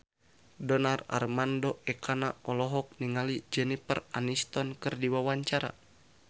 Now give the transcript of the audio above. Donar Armando Ekana olohok ningali Jennifer Aniston keur diwawancara